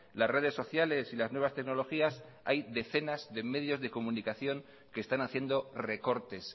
las redes sociales y las nuevas tecnologías hay decenas de medios de comunicación que están haciendo recortes